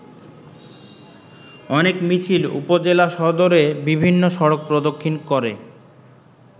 অনেক মিছিল উপজেলা সদরে বিভিন্ন সড়ক প্রদক্ষিণ করে।